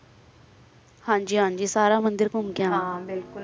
ਹਨ ਜੀ ਹਨ ਜੀ ਸਾਰਾ ਮੰਦਿਰ ਘੁੰਮ ਕ ਨਾ ਹੈ ਬਿਲਕੁਲ